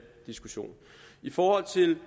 diskussion i forhold til